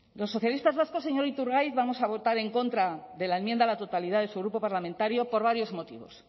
los socialistas vascos señor iturgaiz vamos a votar en contra de la enmienda a la totalidad de su grupo parlamentario por varios motivos